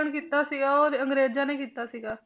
ਕੀਤਾ ਸੀਗਾ ਉਹ ਅੰਗਰੇਜ਼ਾਂ ਨੇ ਕੀਤਾ ਸੀਗਾ।